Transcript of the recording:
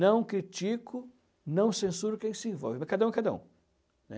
Não critico, não censuro quem se envolve, mas cada um é cada um.